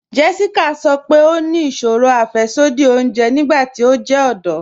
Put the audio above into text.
Jéssíkà sọ́ pé ó ní ìṣòrò afẹ̀ṣọdí òunjè nígbàtí ó jẹ ọdọ̀.